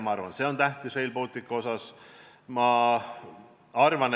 Ma arvan, et ka see on Rail Balticu puhul tähtis.